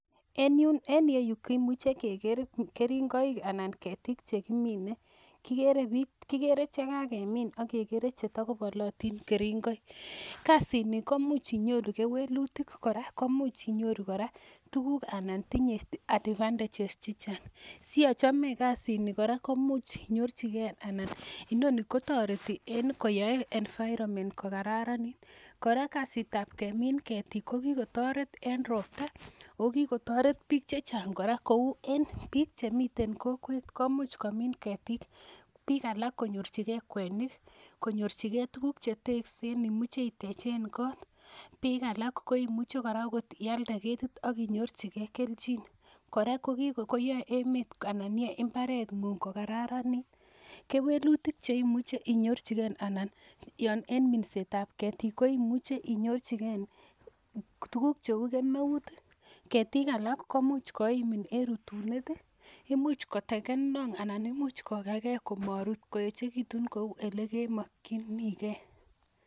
En yun en iyeyu kimuche keker keringoik anan ketik chekimine kikere chekokemin akekere chetakobolotin keringoik kasit ni komuch inyoru kewelutik kora komuch inyoru kora komuch inyoru kora tuguk ana tinye advantages chechang siochome kasit ni kora komuch inyorchigee ana inoni kotoreti en koyoe environment kokararanit kora kasit ab kemin ketik ko kikotoret en ropta o kikotoret biik chechang kora kou en biik chemiten kokwet komuch komin ketiik biik alak konyorchigee kwenik konyorchigee tuguk cheteksen imuche itechen kot biik alak kora koimuche ialde ketit ak inyorchigee kelchin kora koyoe emet anan yoe mbaret ng'ung kokararanit kewelutik cheimuche inyorchigee anan yon en minset ab ketik koimuche inyorchigee tuguk cheu kemeut ketik alak koimuch koimin en rutunet ih imuch koteken long anan imuch kokagee komorut koeechekitun kou elekemokyinigee